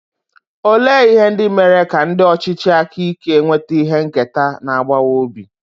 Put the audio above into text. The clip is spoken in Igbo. Olee ihe ndị mere ka ndị ọchịchị aka ike nweta ihe nketa na-agbawa obi?